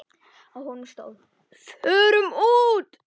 Á honum stóð: Fórum út!